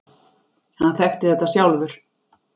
Hann þekkti þetta sjálfur.